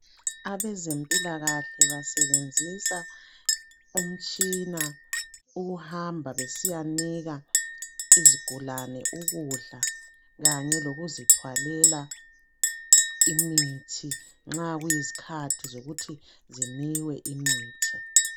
abezempilakahle basebenzisa umtshina ukuhamba besiyanika izigulane ukudla kanye lokuzithwalela imithi nxa kuyizikhathi zokuthi zinkwe imithi